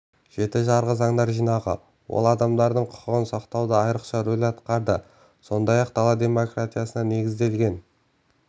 жеті жарғы заңдар жинағы ол адамдардың құқығын сақтауда айрықша рөл атқарды сондай-ақ дала демократиясына негізделген